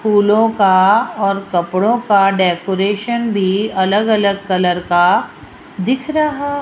फूलों का और कपड़ों का डेकोरेशन भी अलग-अलग कलर का दिख रहा --